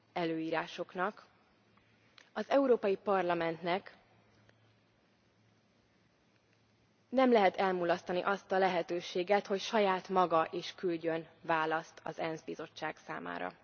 előírásoknak, az Európai Parlamentnek nem lehet elmulasztani azt a lehetőséget, hogy saját maga is küldjön választ az ENSZ bizottság számára.